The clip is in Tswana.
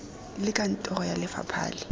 le kantoro ya lefapha e